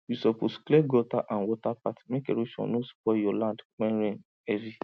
you suppose clear gutter and water path make erosion no spoil your land when rain heavy